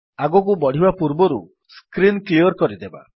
ଆଗକୁ ବଢ଼ିବା ପୂର୍ବରୁ ସ୍କ୍ରୀନ୍ କ୍ଲିଅର୍ କରିଦେବା